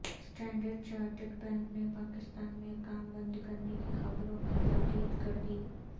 standard chartered bank نے پاکستان میں کام بند کرنے کی خبروں کی تردید کر دی